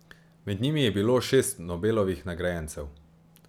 Med njimi je bilo šest Nobelovih nagrajencev.